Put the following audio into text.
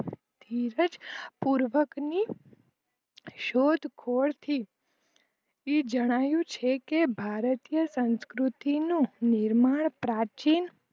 પૂર્વકની શોધ ખોડ થી જણાયું છે કે ભારતીય સંસ્કૃતિનું નિર્માણ પ્રાચીન